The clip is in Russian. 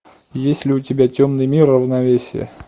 есть ли у тебя темный мир равновесие